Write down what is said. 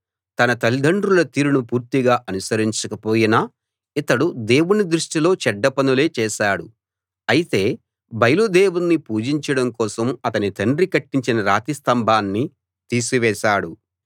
తన తల్లిదండ్రుల తీరును పూర్తిగా అనుసరించక పోయినా ఇతడు దేవుని దృష్టిలో చెడ్డ పనులే చేశాడు అయితే బయలు దేవుణ్ణి పూజించడం కోసం అతని తండ్రి కట్టించిన రాతి స్తంభాన్ని తీసివేశాడు